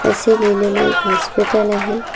असे लिहिलेले एक हॉस्पिटल आहे.